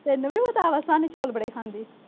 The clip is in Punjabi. ਤੈਨੂੰ ਵੀ ਪਤਾ ਵਾ ਸਾਹਨੀ ਚੌਲ ਬੜੇ ਖਾਂਦੀ।